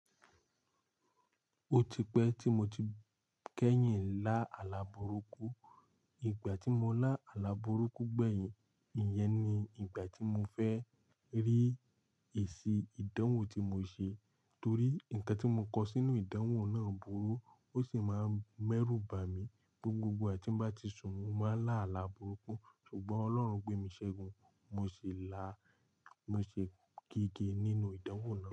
Ó ti pẹ́ tí mo ti kẹ́yìn lá àlá burúkú. Ìgbà tí mo lá àlá burúkú gbẹ̀yìn, ìyẹn ni ìgbà tí mo fẹ́ rí èsì ìdánwò tí mo ṣe. Torí nǹkan tí mo kọ sínú ìdánwò náà burú, ó sì máa ń mẹ́rú bà mí. Gbogbo igba ti ń bá ti sùn, ní mo máa lá àlá burúkú. Ṣùgbọ́n Ọlọ́run gbé mi ṣẹ́gun, mo ṣe lá, mo ṣe gígé nínú ìdánwò náà.